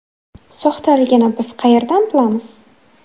Soxtaligini biz qayerdan bilamiz?